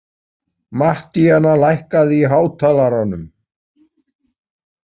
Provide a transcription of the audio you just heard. Mattíana, lækkaðu í hátalaranum.